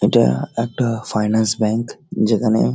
এটা একটা finance bank যেখানে--